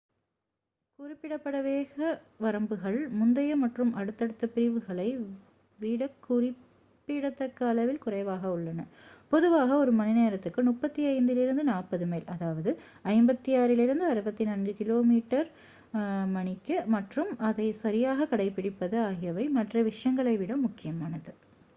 குறிப்பிடப்பட்ட வேக வரம்புகள் முந்தைய மற்றும் அடுத்தடுத்த பிரிவுகளை விடக் குறிப்பிடத்தக்க அளவில் குறைவாக உள்ளன - பொதுவாக ஒரு மணிநேரத்துக்கு 35-40 மைல் 56-64 கிமீ / மணி - மற்றும் அதைச் சரியாக கடைப்பிடிப்பது ஆகியவை மற்ற விஷயங்களை விட முக்கியமானது